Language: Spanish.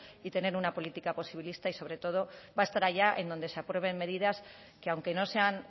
y tener una política posibilista y sobre todo va a estar allá en donde se aprueben medidas que aunque no sean